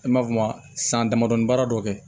An b'a f'o ma san damadɔ baara dɔ kɛ